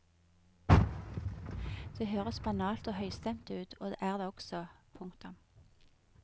Det høres banalt og høystemt ut og er det også. punktum